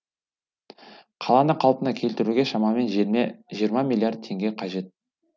қаланы қалпына келтіруге шамамен жиырма миллиард теңге қажет